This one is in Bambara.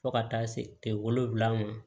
Fo ka taa se wolonwula ma